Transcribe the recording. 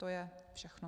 To je všechno.